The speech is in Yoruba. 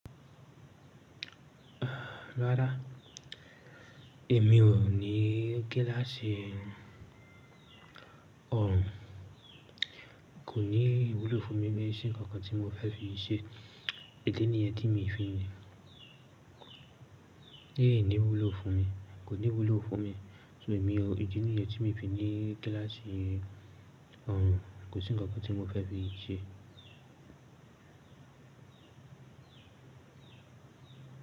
Rárá, èmi ò ní gíláàsì orùn. Kò ní ìwúlò fún mi bí i ṣe ǹkan kan tí mo fẹ́ fi ṣe. Ìdi nìyẹn tí miì fi ni. Éè ní ìwúlò fún mi. Kò ní wúlò fún mi. So èmi ò ìdí nìyẹn tí miì fi ní gíláàsì òrùn. Kò sí ǹkankan tí mo fẹ́ fi ṣe.